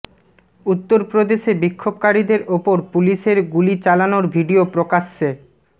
উত্তর প্রদেশে বিক্ষোভকারীদের ওপর পুলিশের গুলি চালানোর ভিডিও প্রকাশ্যে